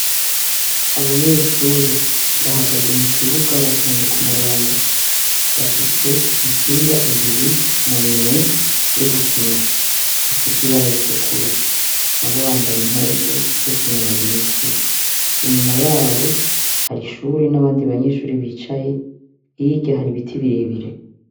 Abanyeshuri bahagaze mu kibuga batonze k'umurongo, bafise imipira ibiri muminwe yo gukina ifise ibara ritukura, nabo bambaye impuzu zokwinonora imitsi, inyuma yabo har'ishure n'abandi banyeshure bicaye, hirya har'ibiti birebire.